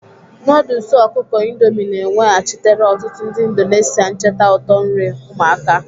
Noodles ọkụkọ Indomie na-eweghachitere ọtụtụ ndị Indonesia ncheta ụtọ nri ụmụaka.